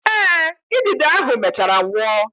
Eh, idide ahụ mechaara nwụọ.